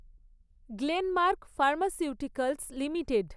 Glenmark Pharmaceuticals limited